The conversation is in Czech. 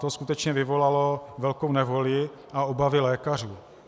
To skutečně vyvolalo velkou nevoli a obavy lékařů.